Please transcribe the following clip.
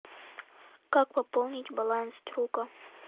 как пополнить баланс друга